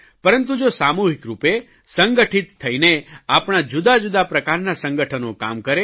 પરંતુ તો સામૂહિકરૂપે સંગઠિત થઇને આપણા જુદાજુદા પ્રકારના સંગઠનો કામ કરે